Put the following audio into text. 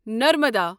Narmada